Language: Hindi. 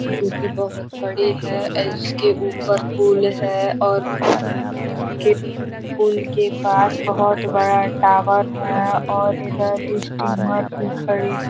जो कि बहुत बड़ी है। इसके ऊपर पुल है और उसके पुल के पास बहुत बड़ा टावर है और इधर स्टीमर भी खड़ी --